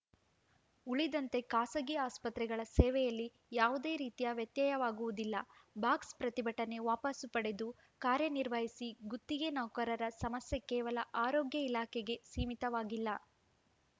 ಉಳಿದಂತೆ ಖಾಸಗಿ ಆಸ್ಪತ್ರೆಗಳ ಸೇವೆಯಲ್ಲಿ ಯಾವುದೇ ರೀತಿಯ ವ್ಯತ್ಯಯವಾಗುವುದಿಲ್ಲ ಬಾಕ್ಸ್‌ ಪ್ರತಿಭಟನೆ ವಾಪಸು ಪಡೆದು ಕಾರ್ಯನಿರ್ವಹಿಸಿ ಗುತ್ತಿಗೆ ನೌಕರರ ಸಮಸ್ಯೆ ಕೇವಲ ಆರೋಗ್ಯ ಇಲಾಖೆಗೆ ಸೀಮಿತವಾಗಿಲ್ಲ